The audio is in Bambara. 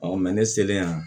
ne selen yan